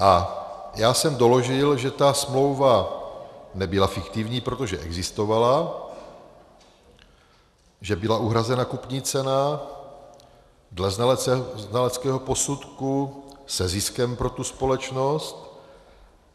A já jsem doložil, že ta smlouva nebyla fiktivní, protože existovala, že byla uhrazena kupní cena dle znaleckého posudku se ziskem pro tu společnost.